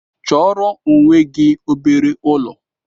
Chọọrọ onwe gị obere ụlọ!